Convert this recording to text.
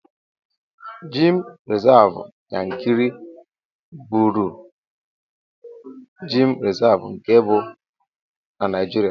Gemụ rizavụ Yankari bụụrụ gem rizavụ nke mbụ na Naijiria.